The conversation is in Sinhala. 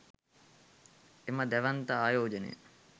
එම දැවැන්ත ආයෝජනය